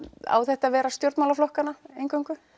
á þetta að vera stjórnmálaflokkana eingöngu